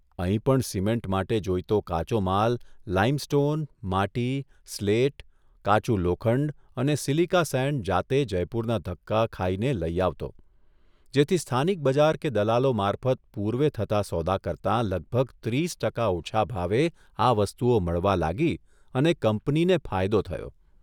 અહીં પણ સિમેન્ટ માટે જોઇતો કાચો માલ લાઇમ સ્ટોન, માટી, સ્લેટ, કાચું લોખંડ અને સીલીકા સેન્ડ જાતે જયપુરના ધક્કા ખાઇને લઇ આવતો જેથી સ્થાનિક બજાર કે દલાલો મારફત પૂર્વે થતા સોદા કરતાં લગભગ ત્રીસ ટકા ઓછા ભાવે આ વસ્તુઓ મળવા લાગી અને કંપનીને ફાયદો થયો.